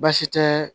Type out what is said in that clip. Baasi tɛ